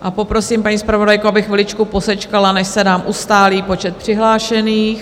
A poprosím paní zpravodajku, aby chviličku posečkala, než se nám ustálí počet přihlášených.